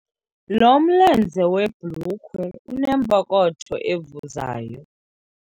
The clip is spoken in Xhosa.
Lo mlenze webhulukhwe unepokotho evuzayo.